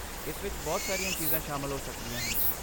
ਇਸ ਵਿੱਚ ਬਹੁਤ ਸਾਰੀਆਂ ਚੀਜ਼ਾਂ ਸ਼ਾਮਲ ਹੋ ਸਕਦੀਆਂ ਹਨ।